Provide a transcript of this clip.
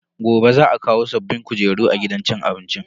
Gobe za a kawo sabbin kujeru a gidan cin abincin.